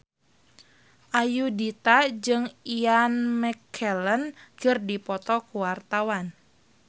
Ayudhita jeung Ian McKellen keur dipoto ku wartawan